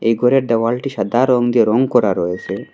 এই গরের দেওয়ালটি সাদা রঙ্গে রঙ করা রয়েছে।